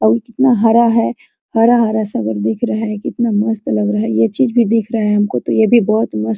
और ये कितना हरा है हरा-हरा सा सब दिख रहा है कितना मस्त लग रहा है ये चीज भी दिख रहा है हमको तो यह भी बहुत मस्त --